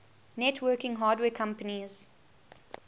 networking hardware companies